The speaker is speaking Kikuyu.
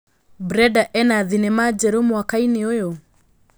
Brenda ena thĩnema njerũ mwakaĩnĩ ũyũ